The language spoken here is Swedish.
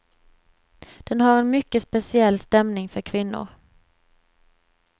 Den har en mycket speciell stämning för kvinnor.